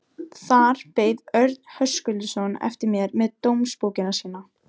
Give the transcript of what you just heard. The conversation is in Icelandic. Þar beið Örn Höskuldsson eftir mér með dómsbókina sína.